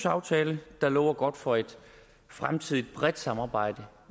aftale der lover godt for et fremtidigt bredt samarbejde